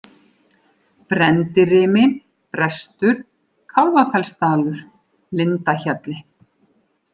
Brenndirimi, Brestur, Kálfafellsdalur, Lindahjalli